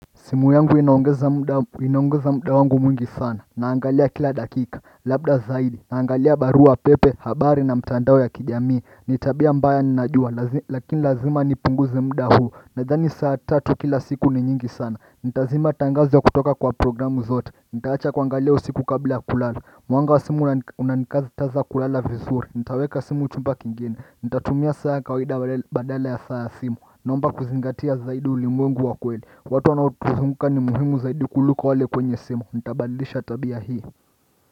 Simu yangu inaongeza muda wangu mwingi sana naangalia kila dakika Labda zaidi naangalia barua pepe, habari na mtandao ya kijamii ni tabia mbaya ninajua Lakini lazima nipunguze muda huu Nadhani saa tatu kila siku ni nyingi sana nitazima tangazo ya kutoka kwa programu zote Nitaacha kuangalia usiku kabla ya kulala Mwanga wa simu unanikataza kulala vizuri nitaweka simu chumba kingine Nitatumia saa ya kawaida badala ya saa ya simu naomba kuzingatia zaidi ulimwengu wa kweli watu wanaotuzunguka ni muhimu zaidi kuliko wale kwenye simu nitabadilisha tabia hii.